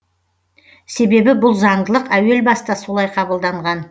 себебі бұл заңдылық әуелбаста солай қабылданған